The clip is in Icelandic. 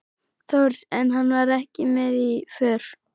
Þórs, en hann var ekki með í för.